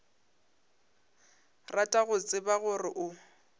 rata go tseba gore o